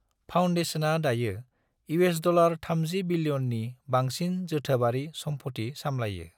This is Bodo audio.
फाउन्डेशना दायो $30 बिलियननि बांसिन जोथोबारि सम्पथि सामलायो।